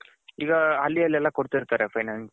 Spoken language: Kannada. ಈಗ ಅಲ್ಲಿ ಎಲ್ಲಾ ಕೊಡ್ತಿರ್ತರೆ finance.